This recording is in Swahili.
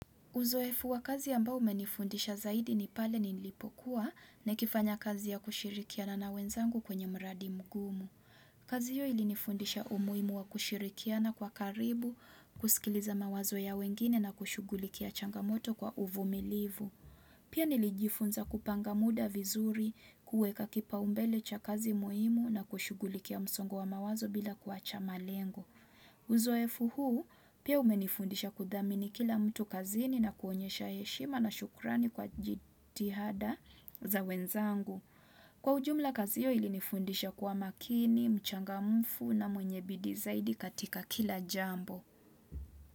Uzoefu wa kazi ambao umenifundisha zaidi ni pale nilipokuwa nakifanya kazi ya kushirikiana na wenzangu kwenye mradi mgumu. Kazi hiyo ilinifundisha umuhimu wa kushirikiana kwa karibu, kusikiliza mawazo ya wengine na kushughulikia changamoto kwa uvumilivu. Pia nilijifunza kupanga muda vizuri, kuweka kipaumbele cha kazi muhimu na kushughulikia msongo wa mawazo bila kuacha malengo. Uzoefu huu pia umenifundisha kudhamini kila mtu kazini na kuonyesha heshima na shukrani kwa jitihada za wenzangu. Kwa ujumla kazi hiyo ilinifundisha kwa makini, mchangamfu na mwenye bidii zaidi katika kila jambo.